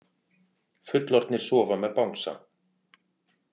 Fullorðnir sofa með bangsa